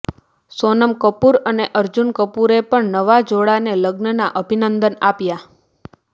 સોનમ કપૂર અને અર્જુન કપૂરએ પણ નવા જોડાને લગ્નના અભિનંદન આપ્યા